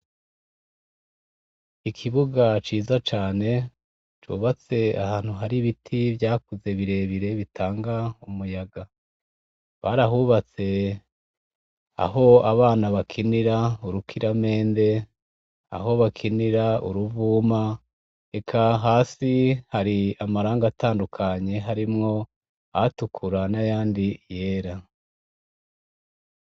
Ikibuga ciza cane cubatse ahantu hari ibiti vyakuze birebire bitanga umuyaga barahubatse aho abana bakinira urukiramende aho bakinira uruvuma eka hasi hari amarangi atandukanye harimwo ayatukura nayandi yera